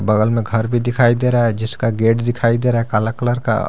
बगल में घर भी दिखाई दे रहा है जिसका गेट दिखाई दे रहा है काला कलर का --